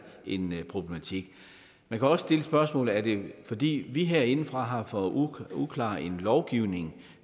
en problematik man kan også stille spørgsmålet er det fordi vi herindefra har for uklar en lovgivning